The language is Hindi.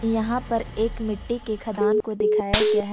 यहां पर एक मिट्टी के खदान को दिखाया गया है।